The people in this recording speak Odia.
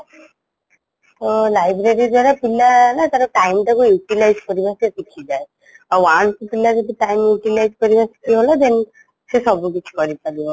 ତ library ଦ୍ଵାରା ପିଲା ନା ତାର time ଟା କୁ utilize କରିବା ସିଏ ଶିଖିଯାଏ ଆଉ once ପିଲା ଯଦି time utilize କରିବା ସିଖିଗଲା then ସେ ସବୁକିଛି କରିପାରିବ